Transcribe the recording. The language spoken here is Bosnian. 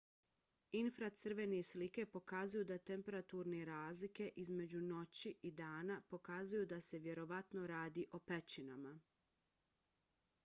infracrvene slike pokazuju da temperaturne razlike između noći i dana pokazuju da se vjerovatno radi o pećinama